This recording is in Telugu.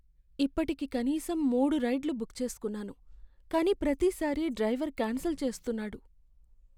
ఇప్పటికి కనీసం మూడు రైడ్లు బుక్ చేస్కున్నాను, కానీ ప్రతి సారి డ్రైవర్ క్యాన్సెల్ చేస్తున్నాడు.